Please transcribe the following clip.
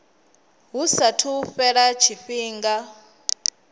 hu saathu u fhela tshifhinga